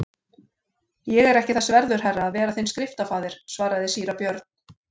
Ég er ekki þess verður herra, að vera þinn skriftafaðir, svaraði síra Björn.